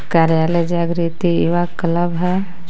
कार्यालय जागृति युवा क्लब है.